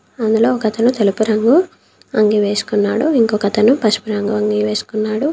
అందులో ఒకతను తెలుపు రంగు అంగీ వేసుకున్నాడు ఇంకొక అతను పసుపు రంగు అంగీ వేసుకున్నాడు.